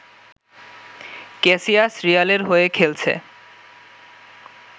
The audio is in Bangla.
ক্যাসিয়াস রিয়ালের হয়ে খেলছে